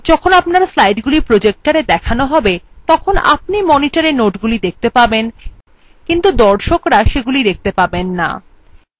যখন আপনার slidesগুলি projectora দেখান হবে তখন আপনি monitora নোটগুলি দেখতে পাবেন কিন্তু be দর্ককরা সেগুলি দেখতে পাবেন না